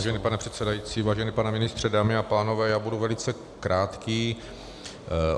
Vážený pane předsedající, vážený pane ministře, dámy a pánové, já budu velice krátký.